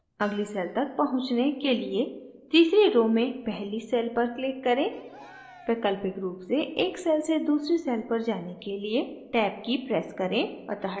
अगली cell तक पहुँचने के लिए तीसरी row में पहली cell पर click करें वैकल्पिक row से एक cell से दूसरी cell पर जाने के लिए टैब की press करें